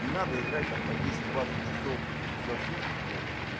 не надо играть там по десять двадцать часов за сутки блять